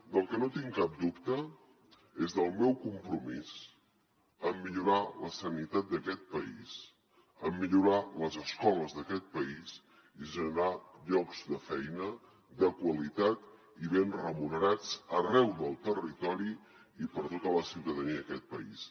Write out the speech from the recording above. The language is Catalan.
del que no tinc cap dubte és del meu compromís en millorar la sanitat d’aquest país en millorar les escoles d’aquest país i generar llocs de feina de qualitat i ben remunerats arreu del territori i per a tota la ciutadania d’aquest país